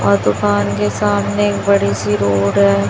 और दुकान के सामने एक बड़ी सी रोड है।